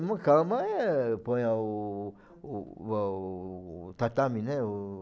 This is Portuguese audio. Uma cama é... põe lá o o o a o tatame, né? O...